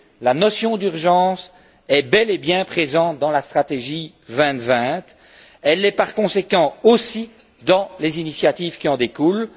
la notion d'urgence est bel et bien présente dans la stratégie Europe 2020. Elle l'est par conséquent aussi dans les initiatives qui en découlent.